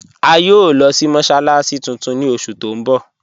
A yòò lọ sí mọ́sálàssí tuntun ni oṣù tó n bọ̀.